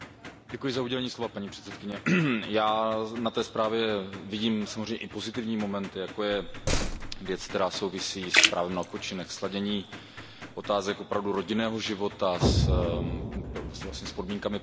Paní předsedající, já na té zprávě vidím samozřejmě i pozitivní moment, jako je věc, která souvisí s právem na odpočinek, se sladěním otázek opravdu rodinného života s podmínkami pracovního trhu.